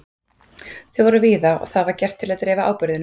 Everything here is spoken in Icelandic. Þau voru víða og var það gert til að dreifa áburðinum.